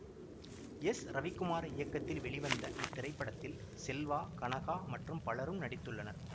S Ravikumar இயக்கத்தில் வெளிவந்த இத்திரைப்படத்தில் செல்வா கனகா மற்றும் பலரும் நடித்துள்ளனர்